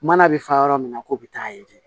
Mana bɛ fa yɔrɔ min na ko bɛ taa ye